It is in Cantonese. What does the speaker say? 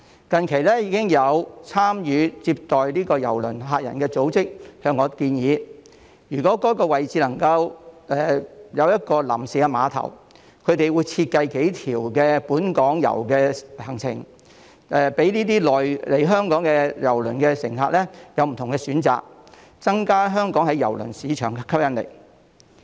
近期已經有參與接待郵輪乘客的組織向我建議，如果在前述位置能夠設立一個臨時碼頭，他們會設計數條本港遊的路線供來港的郵輪乘客選擇，增加香港在郵輪市場的吸引力。